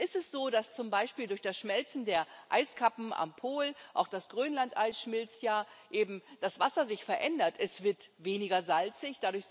Nun ist es so, dass zum Beispiel durch das Schmelzen der Eiskappen am Pol auch das Grönlandeis schmilzt ja eben das Wasser sich verändert Es wird weniger salzig.